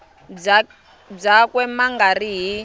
byakwe ma nga ri hi